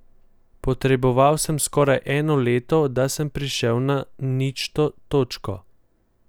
Potreboval sem skoraj eno leto, da sem prišel na ničto točko.